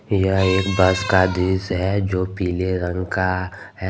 यह एक बस का दृश्य है जो पीले रंग का है।